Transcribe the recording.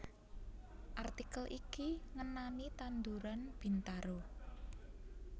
Artikel iki ngenani tanduran Bintaro